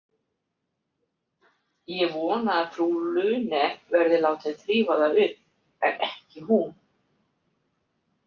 Ég vona að frú Lune verði látin þrífa það upp en ekki hún.